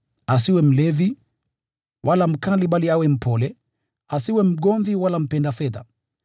asiwe mlevi, wala mkali bali awe mpole, asiwe mgomvi wala mpenda fedha.